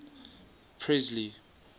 presley